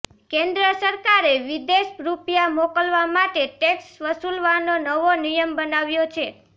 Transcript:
કેન્દ્ર સરકારે વિદેશ રૂપિયા મોકલવા માટે ટેક્સ વસૂલવાનો નવો નિયમ બનાવ્યો છે